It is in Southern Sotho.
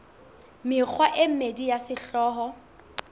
mekgwa e mmedi ya sehlooho